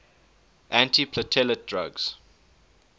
antiplatelet drugs